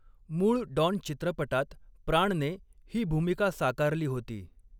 मूळ 'डॉन' चित्रपटात प्राणने ही भूमिका साकारली होती.